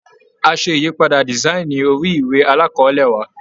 A ṣe ìyípadà dísáìnì orí ìwé alákọ̀ọ́lé wa.